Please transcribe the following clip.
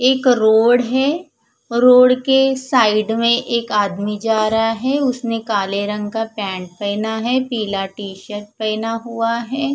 एक रोड है रोड के साइड में एक आदमी जा रहा है उसने काले रंग का पेंट पहना है पिला टीसर्ट पहना हुआ है।